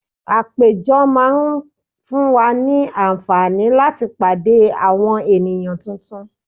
Àpéjọ tún máa ń fún wa ní àǹfààní láti pàdé àwọn ènìyàn tuntun